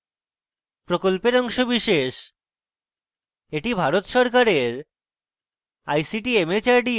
এটি ভারত সরকারের ict mhrd এর জাতীয় শিক্ষা mission দ্বারা সমর্থিত